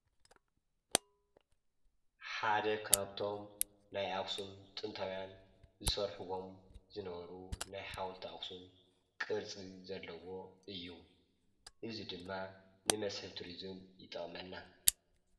ሓደ ካብቶም ናይ ኣኽሱም ጥንታውያን ዝሰርሕዎም ዝነበሩ ናይ ሓወልቲ ኣኽሱም ቅርፂ ዘለዎ እዩ፡፡ እዙይ ድማ ንመስሕብ ቱርዝም ይጠቕመና፡፡